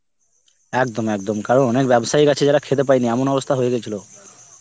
একদম একদম কারণ অনেক ব্যবসায়ী আছে যারা খেতে পায়নি এমন অবস্থা হয়ে গেছিলো.